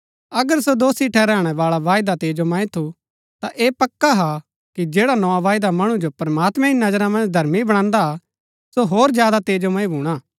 अगर सो दोषी ठहराणै बाळा वायदा तेजोमय थू ता ऐह पक्का हा कि जैड़ा नोआ वायदा मणु जो प्रमात्मैं री नजरा मन्ज धर्मी बणांदा हा सो होर ज्यादा तेजोमय भूणा हा